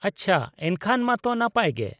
-ᱟᱪᱪᱷᱟ, ᱮᱱᱠᱷᱟᱱ ᱢᱟᱛᱚ ᱱᱟᱯᱟᱭ ᱜᱮ ᱾